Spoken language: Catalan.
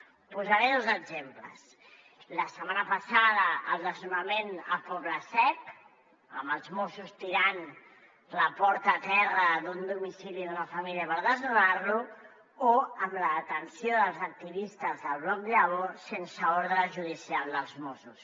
en posaré dos exemples la setmana passada el desnonament al poble sec amb els mossos tirant la porta a terra d’un domicili d’una família per desnonar lo o la detenció dels activistes del bloc llavors sense ordre judicial dels mossos